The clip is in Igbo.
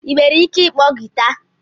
Ị nwere ike ịkpọ guitar?